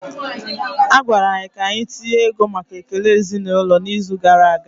A gwara anyị ka anyị tinye ego maka ekele ezinụlọ n'izu gara aga